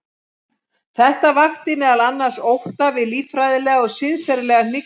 Þetta vakti meðal annars ótta við líffræðilega og siðferðilega hnignun.